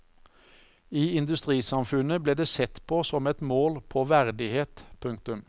I industrisamfunnet ble det sett på som et mål på verdighet. punktum